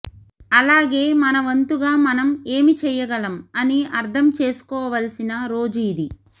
అలాగే మనవంతుగా మనం ఏమి చెయ్యగలం అని అర్ధం చేసుకోవాల్సిన రోజు ఇది